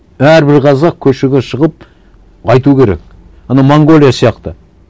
әрбір қазақ көшеге шығып айту керек ана монғолия сияқты